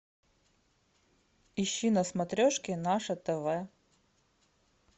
ищи на смотрешке наше тв